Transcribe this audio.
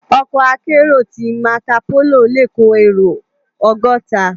Òkò àkèéró ti màkópóló lé kó éró ògòtá